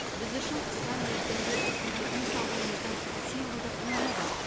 біз үшін қысқа мерзімде осындай үй салуымыздың символдық мәні бар